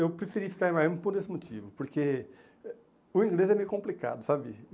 Eu preferi ficar em Miami por esse motivo, porque o inglês é meio complicado, sabe?